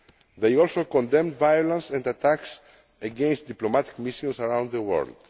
They also condemned violence and attacks against diplomatic missions around the world.